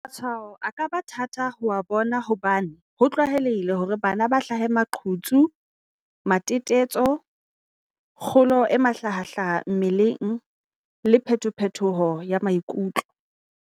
"Matshwao a ka ba thata ho a bona hobane ho tlwaelehile hore bana ba hlahe maqhutsu, matetetso, kgolo e mahla hahlaha ya mmeleng, le phetophetoho ya maikutlo."